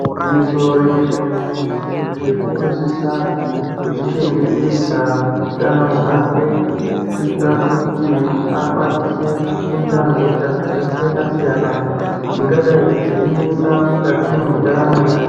Igwinyiso remenemene munthunje unosisa kuzvichengetedza utano hwake kuitira kuti akwanise kujunda hosha dzkaakasiyana siyana dzingadai dzeinesa mukati mwendaramo yake.